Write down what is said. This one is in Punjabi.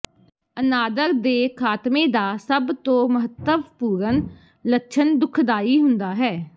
ਅਨਾਦਰ ਦੇ ਖਾਤਮੇ ਦਾ ਸਭ ਤੋਂ ਮਹੱਤਵਪੂਰਨ ਲੱਛਣ ਦੁਖਦਾਈ ਹੁੰਦਾ ਹੈ